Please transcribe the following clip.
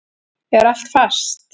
Er allt fast?